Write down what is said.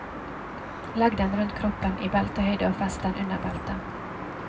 Legg den rundt kroppen i beltehøyde og fest den under beltet.